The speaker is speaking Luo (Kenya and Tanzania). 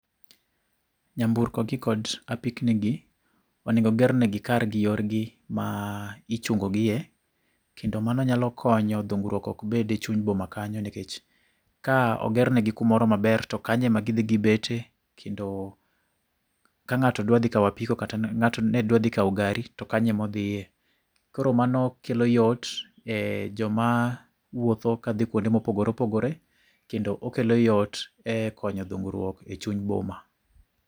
Nyamburko gi kod apikni gi, oningo oger negi kar gi yorgi ma ichungogie . Kendo mano nyalo kono dhungruok ok bede e chuny boma kanyo nikech, ka oger negi kumoro maber to kanyo ema gidhi gibete kendo, ka ng'ato dwa dhi kaw apiko kata ng'ato nedwadhi kaw gari, to kanyo emodhiye. Koro mano kelo yot, e joma wuotho kadhi kwonde mopogore opogore. Kendo okelo yot e konyo dhungruok e chuny boma